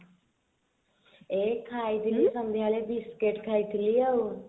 ଏଇ ଖାଇ ଥିଲି ସନ୍ଧ୍ଯା ବେଳେ ବିସ୍କୁଟ ଖାଇଥିଲି ଆଉ